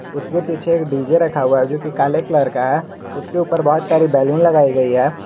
उसके पीछे एक डी_जे रखा हुआ है जोकि काले कलर का है उसके ऊपर बहुत सारी बैलून लगाई गई है।